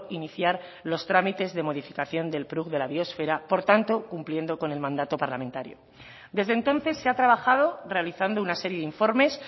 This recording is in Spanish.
iniciar los trámites de modificación del prug de la biosfera por tanto cumpliendo con el mandato parlamentario desde entonces se ha trabajado realizando una serie de informes